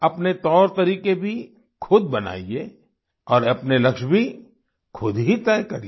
अपने तौर तरीके भी खुद बनाइए और अपने लक्ष्य भी खुद ही तय करिए